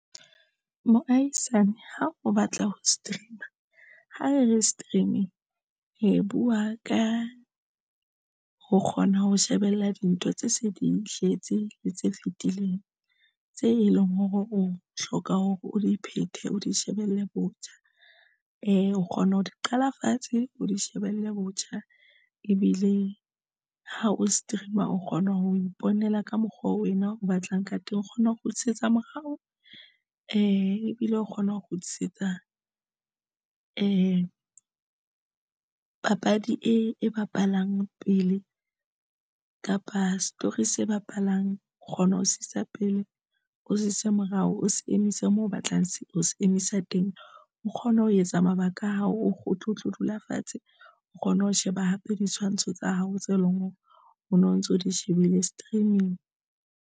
Moahisane ha o batla ho stream-a ha re re streaming re buwa ka ho kgona ho shebella dintho tse se di tletse le tse fitileng tse e leng hore o hloka hore o di phethe o di shebelle botjha e o kgona ho di qala fatshe, o di shebelle botjha ebile ha o stream-a o kgona ho iponela ka mokgwa oo wena o batlang ka teng, o kgona ho kgutlisetsa morao ebile o kgona ho kgutlisetsa e papadi e bapalang pele kapa story se bapalang o kgona ho sebedisa pele o se kgutlisitse morao, o se emise moo o batlang ho emisa teng, o kgona ho etsa mabaka a hao o tlo dula fatshe o kgona ho sheba hape ditshwantsho tsa hao tse leng hore o no ntso di shebile streaming.